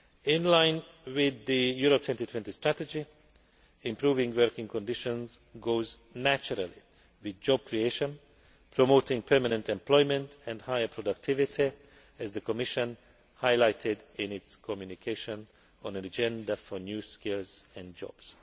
In line with the Europe 2020 Strategy, improving working conditions goes naturally with job creation, promoting permanent employment and higher productivity, as the Commission highlighted in its communication on An Agenda for new skills and jobs'.